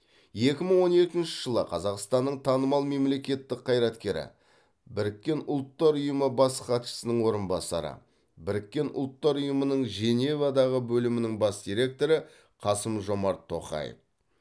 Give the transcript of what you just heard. екі мың он екінші жылы қазақстанның танымал мемлекеттік қайраткері біріккен ұлттар ұйымы бас хатшысының орынбасары біріккен ұлттар ұйымының женевадағы бөлімінің бас директоры қасым жомарт тоқаев